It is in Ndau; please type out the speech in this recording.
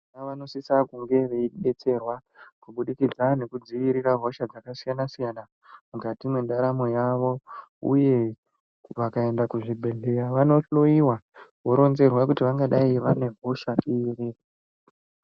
Vana vanosisa kunge veidetserwa kubudikidza nekudziirira hosha dzakasiyana siyana mukati mwendaramo yavo. Uye vakaenda kuzvibhedhlera vanohloiwa voronzerwa kuti vangadai vane hosha iri.